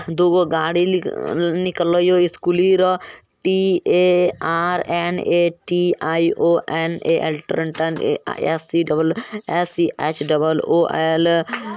दोगो गाड़ी ल नि निकल यो रो इस्कूली रो। T_ A_ R N_ A_ T I O A_ A L ट्रांटन S C H double O L.